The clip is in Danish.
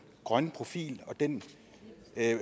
grønne profil og den